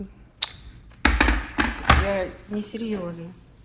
я несерьёзно